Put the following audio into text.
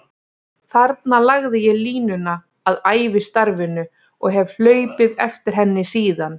Þarna lagði ég línuna að ævistarfinu og hef hlaupið eftir henni síðan.